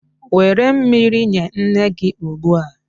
Were mmiri nye nne gị ugbu a.